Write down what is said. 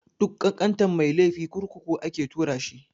Duk ƙanƙantan mai laifi kurkuku ake tura shi.